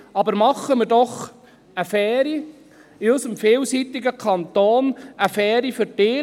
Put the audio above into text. Aber machen wir doch in unserem vielseitigen Kanton eine faire Verteilung.